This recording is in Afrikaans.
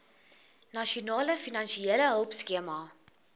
nasionale finansiële hulpskema